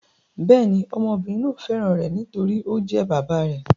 Bẹ́ẹ̀ ni, ọmọbìnrin náà fẹ́ràn rẹ̀, nítorí tí ó jẹ́ bàbá rẹ̀.